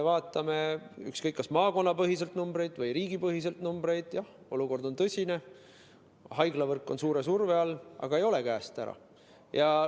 Vaatame ükskõik kas maakonnapõhiseid või riigipõhiseid numbreid: jah, olukord on tõsine, haiglavõrk on suure surve all, aga olukord ei ole käest ära.